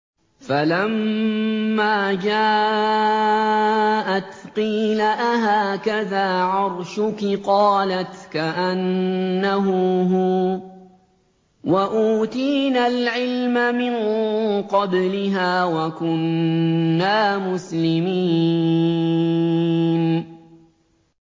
فَلَمَّا جَاءَتْ قِيلَ أَهَٰكَذَا عَرْشُكِ ۖ قَالَتْ كَأَنَّهُ هُوَ ۚ وَأُوتِينَا الْعِلْمَ مِن قَبْلِهَا وَكُنَّا مُسْلِمِينَ